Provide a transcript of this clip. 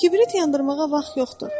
Kibrit yandırmağa vaxt yoxdur.